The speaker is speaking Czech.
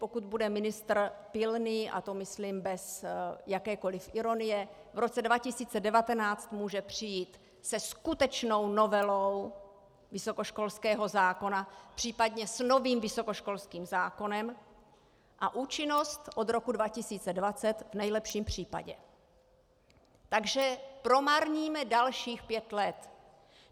Pokud bude ministr pilný, a to myslím bez jakékoli ironie, v roce 2019 může přijít se skutečnou novelou vysokoškolského zákona, případně s novým vysokoškolským zákonem, a účinnost od roku 2020 v nejlepším případě, takže promarníme dalších pět let.